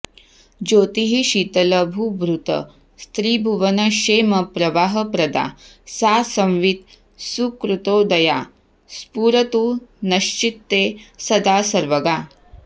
ज्योतिः शीतलभूभृतस्त्रिभुवनक्षेमप्रवाहप्रदा सा संवित् सुकृतोदया स्फुरतु नश्चित्ते सदा सर्वगा